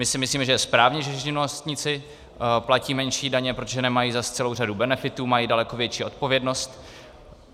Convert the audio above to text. My si myslíme, že je správně, že živnostníci platí menší daně, protože nemají zas celou řadu benefitů, mají daleko větší odpovědnost.